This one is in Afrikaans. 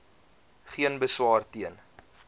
geen beswaar teen